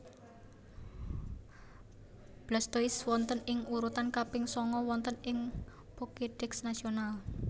Blastoise wonten ing urutan kaping sanga wonten ing Pokédex nasional